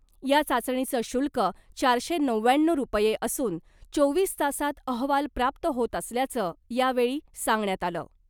या चाचणीचं शुल्क चारशे नव्याण्णव रुपये असून , चोवीस तासांत अहवाल प्राप्त होत असल्याचं , यावेळी सांगण्यात आलं .